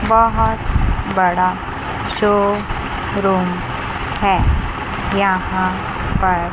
बहोत बड़ा शोरूम है यहां पर--